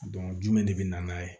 jumɛn de bɛ na n'a ye